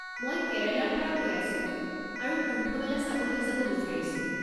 মই কেৰেলাৰ পৰা কৈ আছো আৰু কুম্ভ মেলা চাবলৈ যাব বিচাৰিছো।